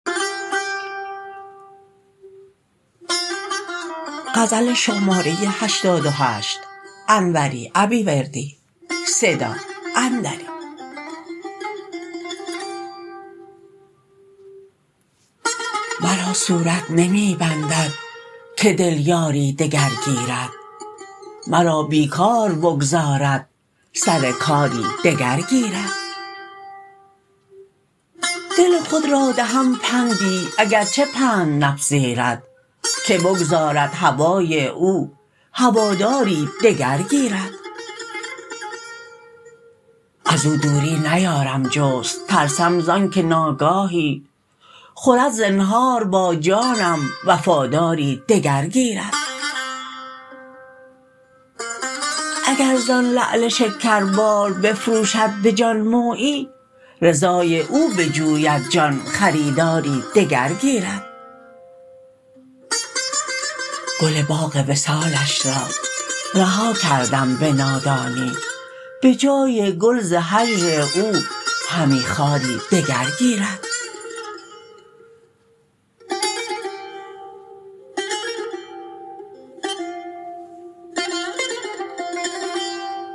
مرا صورت نمی بندد که دل یاری دگر گیرد مرا بیکار بگذارد سر کاری دگر گیرد دل خود را دهم پندی اگرچه پند نپذیرد که بگذارد هوای او هواداری دگر گیرد ازو دوری نیارم جست ترسم زانکه ناگاهی خورد زنهار با جانم وفاداری دگر گیرد اگر زان لعل شکربار بفروشد به جان مویی رضای او بجوید جان خریداری دگر گیرد گل باغ وصالش را رها کردم به نادانی به جای گل ز هجر او همی خاری دگر گیرد